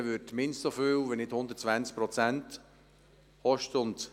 Eine Sanierung würde mindestens so viel, wenn nicht sogar 120 Prozent des Betrags kosten.